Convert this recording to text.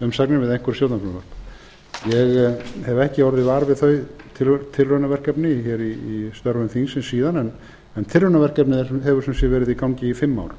jafnréttisumsagnir við einhver stjórnarfrumvörp ég hef ekki orðið var við þau tilraunaverkefni í störfum þingsins síðan en tilraunaverkefnið hefur sem sé verið í gangi í fimm ár